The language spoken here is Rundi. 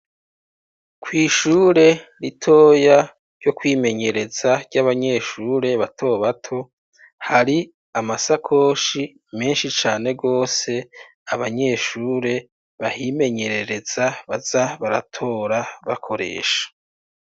Kw'ishure ritoya, ryo kwimenyereza, ry'abanyeshure bato bato, hari amasakoshi menshi cane rwose, abanyeshure bahimenyerereza, baza baratora bakoresha.